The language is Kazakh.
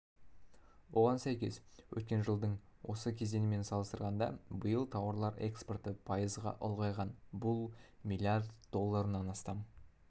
оған сәйкес өткен жылдың осы кезеңімен салыстырғанда биыл тауарлар экспорты пайызға ұлғайған бұл млрд долларынан астам